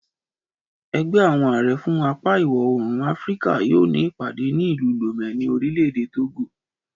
Ẹgbẹ́ àwọn àrẹ fún apá ìwọ̀-oòrùn Áfíríkà yóò ní ìpàdé ní ìlú Lome ní orílẹ̀ èdè Togo